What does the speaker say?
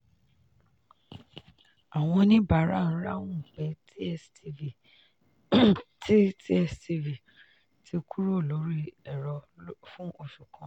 àwọn oníbàárà ń ráhùn pé tstv ti tstv ti kúrò lórí ẹ̀rọ fún oṣù kan.